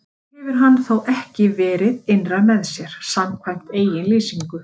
Það hefur hann þó ekki verið innra með sér, samkvæmt eigin lýsingu.